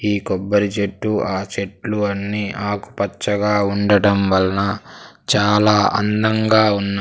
ఈ కొబ్బరి చెట్టు ఆ చెట్లు అన్నీ ఆకుపచ్చగా ఉండటం వల్లన చాలా అందంగా ఉన్న.